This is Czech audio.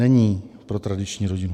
Není pro tradiční rodinu.